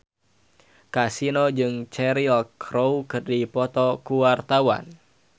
Kasino jeung Cheryl Crow keur dipoto ku wartawan